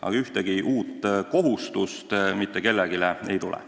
Aga ühtegi uut kohustust mitte kellelegi ei tule.